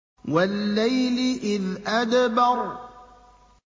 وَاللَّيْلِ إِذْ أَدْبَرَ